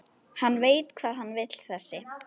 Hann veit hvað hann vill þessi!